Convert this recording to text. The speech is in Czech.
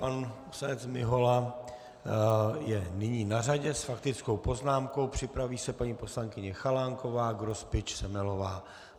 Pan poslanec Mihola je nyní na řadě s faktickou poznámkou, připraví se paní poslankyně Chalánková, Grospič, Semelová.